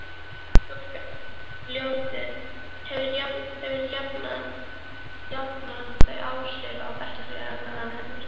Nafn stúlkunnar, Ljótunn, hefur jafnan þau áhrif á bekkjarfélaga hennar